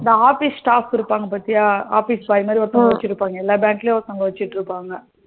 இந்த office staff இருப்பாங்க பாத்தியா? office boy மாதிரி ஒருத்தவங்க வச்சிருப்பாங்க எல்லா பேங்க்லையும் ஒருத்தங்க வச்சிருக்காங்க